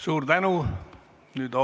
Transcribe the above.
Suur tänu!